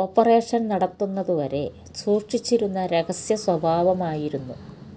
operation നടത്തുന്നത് വരെ സൂക്ഷിച്ചിരുന്ന രഹസ്യ സ്വഭാവമായിരുന്നു